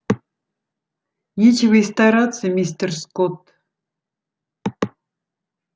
нечего и стараться мистер скотт